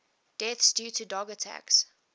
deaths due to dog attacks